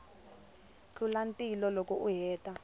tlula ntila loko u hetile